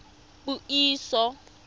puiso